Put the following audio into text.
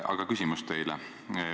Aga küsimus teile.